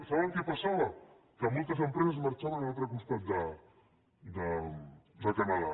saben què passava que moltes empreses marxaven a l’altre costat de canadà